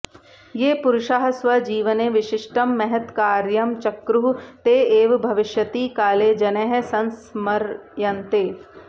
ये पुरुषाः स्वजीवने विशिष्टं महत्कार्यं चक्रुः ते एव भविष्यति काले जनैः संस्मर्यन्ते